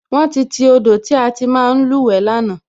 Wón ti ti odò tí a ti ń máa luwe lánàá